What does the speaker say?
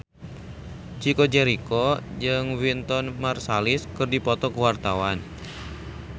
Chico Jericho jeung Wynton Marsalis keur dipoto ku wartawan